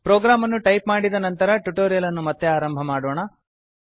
program ಅನ್ನು type ಮಾಡಿದ ನಂತರ ಟ್ಯುಟೋರಿಯಲ್ ಅನ್ನು ಮತ್ತೆ ಆರಂಭ ಮಾಡೋಣ